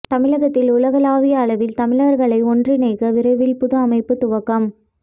தமிழகத்தில் உலகளாவிய அளவில் தமிழர்களை ஒன்றிணைக்க விரைவில் புது அமைப்பு துவக்கம்